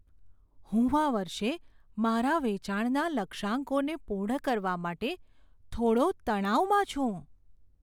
હું આ વર્ષે મારા વેચાણના લક્ષ્યાંકોને પૂર્ણ કરવા માટે થોડો તણાવમાં છું.